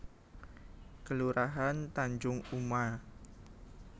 Kelurahan Tanjung Uma